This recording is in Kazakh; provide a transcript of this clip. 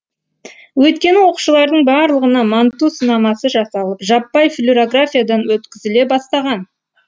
өйткені оқушылардың барлығына манту сынамасы жасалып жаппай флюрографиядан өткізіле бастаған